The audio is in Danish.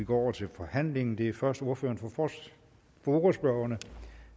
går over til forhandlingen det er først ordføreren for forespørgerne